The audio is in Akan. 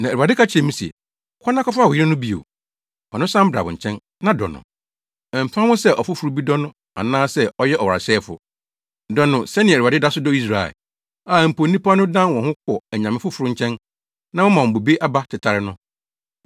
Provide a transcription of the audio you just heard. Na Awurade ka kyerɛɛ me se, “Kɔ na kɔfa wo yere no bio. Fa no san bra wo nkyɛn, na dɔ no. Ɛmfa ho sɛ ɔfoforo bi dɔ no anaa sɛ ɔyɛ ɔwaresɛefo. Dɔ no, sɛnea Awurade da so dɔ Israel, a mpo, nnipa no dan wɔn ho kɔ anyame afoforo nkyɛn, na wɔma wɔn bobe aba tetare no.”